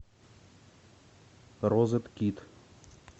розеткид